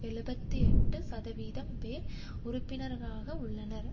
எழுபத்து எட்டு சதவீதம் பேர் உறுப்பினர்களாக உள்ளனர்